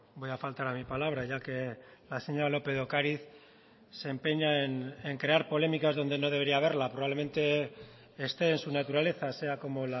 voy a faltar a mi palabra ya que la señora lópez de ocariz se empeña en crear polémicas donde no debería haberla probablemente esté en su naturaleza sea como